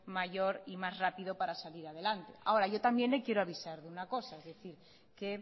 mayor y más rápido para salir adelante ahora yo también le quiero avisar de una cosa es decir que